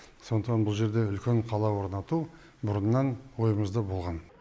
сондықтан бұл жерде үлкен қала орнату бұрыннан ойымызда болған